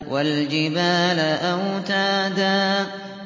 وَالْجِبَالَ أَوْتَادًا